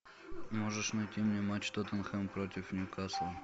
можешь найти мне матч тоттенхэм против ньюкасла